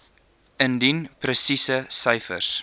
indien presiese syfers